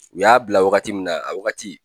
U y'a bila wagati min na a wagati